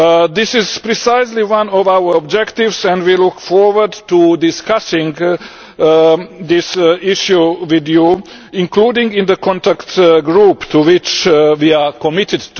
This is precisely one of our objectives and we look forward to discussing this issue with you, including in the contact group, to which we are committed.